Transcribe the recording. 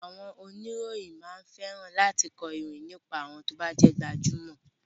Àwọn oníròyìn máa ń fẹ́ran láti kọ ìròyìn nípa àwọn ti o bá jẹ́ gbajúmọ̀.